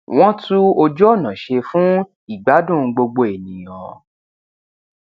wọn tún ojú ọnà ṣe fún ìgbádùn gbogbo ènìyàn